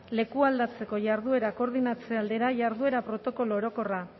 lekualdatzeko jarduera koordinatze aldera jarduera protokolo orokorra